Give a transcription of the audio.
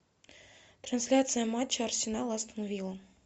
трансляция матча арсенал астон вилла